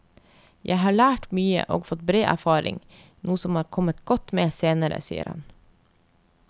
Jeg har lært mye og fått bred erfaring, noe som er kommet godt med senere, sier han.